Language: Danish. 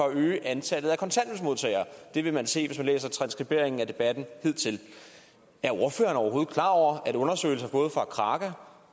at øge antallet af kontanthjælpsmodtagere det vil man se hvis man læser transskriberingen af debatten hidtil er ordføreren overhovedet klar over at undersøgelser både fra kraka